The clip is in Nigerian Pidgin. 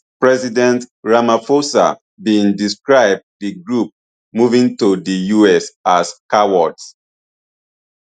president rampahosa bin describe di group moving to di us as cowards